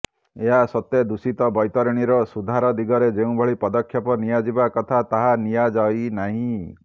ଏହା ସତ୍ତ୍ୱେ ଦୂଷିତ ବୈତରଣୀର ସୁଧାର ଦିଗରେ ଯେଉଁଭଳି ପଦକ୍ଷେପ ନିଆଯିବା କଥା ତାହା ନିଆଯାଇନାହିଁ